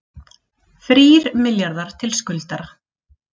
Þrír milljarðar til skuldara